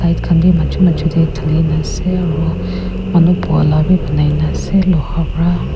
light khan bhi majo majo tey dhali kena ase aro manu buha laga bhi banai na ase loha pra.